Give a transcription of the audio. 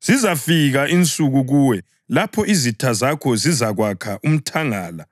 Zizafika insuku kuwe lapho izitha zakho zizakwakha umthangala